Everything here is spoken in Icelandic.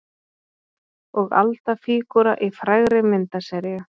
Og Alda fígúra í frægri myndaseríu.